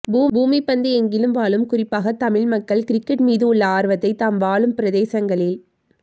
பூமிப்பந்து எங்கிலும் வாழும் குறிப்பாக தமிழ் மக்கள் கிரிக்கெட் மீது உள்ள ஆர்வத்தை தாம் வாழும் பிரதேசங்களில்